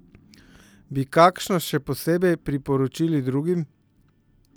Bi kakšno še posebej priporočili drugim?